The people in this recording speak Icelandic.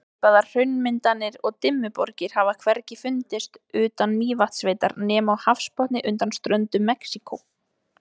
Svipaðar hraunmyndanir og Dimmuborgir hafa hvergi fundist utan Mývatnssveitar nema á hafsbotni undan ströndum Mexíkó.